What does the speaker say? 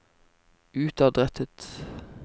utadrettet